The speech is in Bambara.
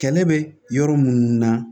Kɛlɛ bɛ yɔrɔ minnu na